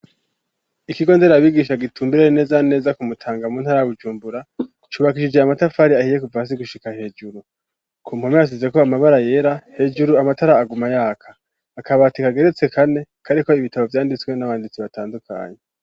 Ikigo nderabigisha gitumbereye neza neza ku Mutanga mu ntara ya Bujumbura .Cubakishije amatafari ahiye kuva hasi gushika hejuru. Ku mpome hasize ko amabara yera hejuru amatara aguma yaka akabatika geretse kane kari ko ibitabo vyanditswe n'abanditsi batandukanye.